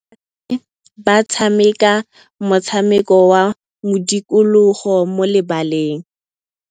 Basimane ba tshameka motshameko wa modikologô mo lebaleng.